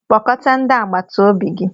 Kpọkọta ndị agbata obi gi!